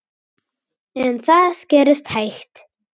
En það gerist hægt.